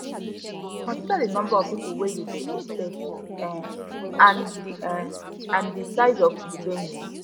consider di number of pipo wey you dey expect um and di um and di size of di venue